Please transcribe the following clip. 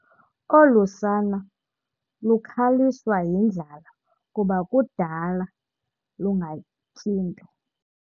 Olu sana lukhaliswa yindlala kuba kudala lungatyi nto.